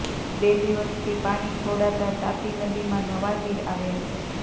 બે દિવસથી પાણી છોડાતાં તાપી નદીમાં નવાં નીર આવ્યાં છે